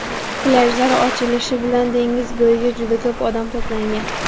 Plyajlar ochilishi bilan dengiz bo‘yiga juda ko‘p odam to‘plangan.